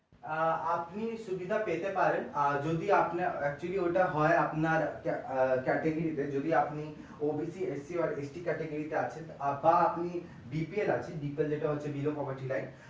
আহ আপনি সুবিধা পেতে পারেন আর যদি আপনার actually ওইটা হয় আপনার আহ category base যদি আপনি OBC, SC বা ST category বা আপনি BPL আছেন BPL হলে হচ্ছে zero property rights